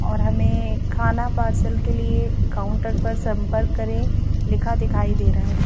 और हमें खाना पार्सल के लिए काउंटर पर संपर्क करें लिखा दिखाई दे रहा है।